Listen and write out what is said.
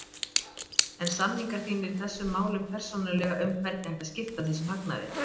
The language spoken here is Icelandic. Heimir: En samningar þínir í þessum málum persónulega um hvernig ætti að skipta þessum hagnaði?